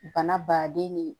Bana baden ni